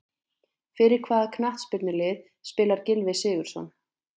Fyrir hvaða knattspyrnulið spilar Gylfi Sigurðsson?